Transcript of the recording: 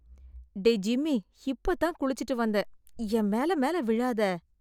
டேய் ஜிம்மி, இப்ப தான் குளிச்சுட்டு வந்தேன், என் மேல மேல விழாத.